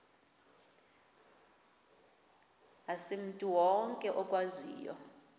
asimntu wonke okwaziyo